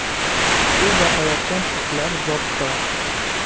“U boqayotgan itlar zotdor.